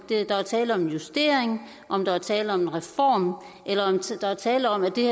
der er tale om en justering om der er tale om en reform eller om der er tale om at det